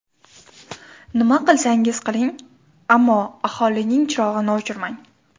Nima qilsangiz qiling, ammo aholining chirog‘ini o‘chirmang.